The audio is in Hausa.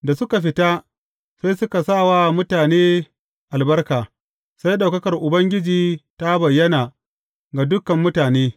Da suka fita, sai suka sa wa mutane albarka; sai ɗaukakar Ubangiji ta bayyana ga dukan mutane.